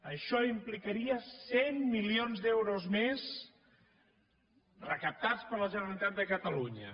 això implicaria cent milions d’euros més recaptats per la generalitat de catalunya